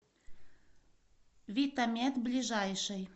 витамед ближайший